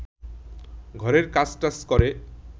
ঘরের কাজটাজ করে